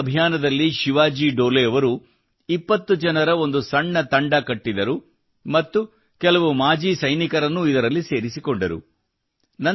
ತಮ್ಮ ಈ ಅಭಿಯಾನದಲ್ಲಿ ಶಿವಾಜಿ ಡೋಲೆ ಅವರು 20 ಜನರ ಒಂದು ಸಣ್ಣ ತಂಡ ಕಟ್ಟಿದರು ಮತ್ತು ಕೆಲವು ಮಾಜಿ ಸೈನಿಕರನ್ನೂ ಇದರಲ್ಲಿ ಸೇರಿಸಿಕೊಂಡರು